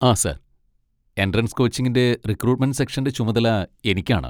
ആ sir, entrance കോച്ചിങ്ങിൻ്റെ recruitment സെക്ഷൻ്റെ ചുമതല എനിക്കാണ്.